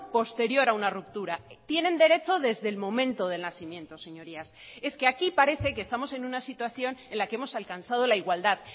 posterior a una ruptura tienen derecho desde el momento del nacimiento señorías es que aquí parece que estamos en una situación en la que hemos alcanzado la igualdad